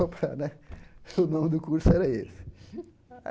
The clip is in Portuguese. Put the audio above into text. né o nome do curso era esse.